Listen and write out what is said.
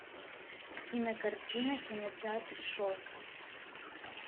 кинокартина кинотеатр шортс